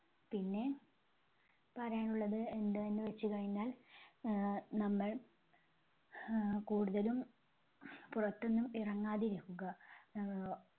പിന്നെ പറയാനുള്ളത് എന്താന്ന് വെച്ചുകഴിഞ്ഞാൽ ആഹ് നമ്മൾ ഹാ കൂടുതലും പുറത്തൊന്നും ഇറങ്ങാതിരിക്കുക. ആഹ്